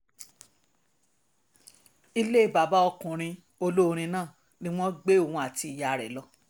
ilé bàbá ọkùnrin olórin náà ni wọ́n gbé òun àti ìyàwó rẹ̀ lọ